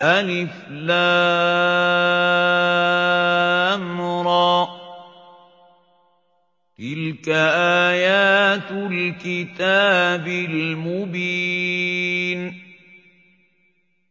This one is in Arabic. الر ۚ تِلْكَ آيَاتُ الْكِتَابِ الْمُبِينِ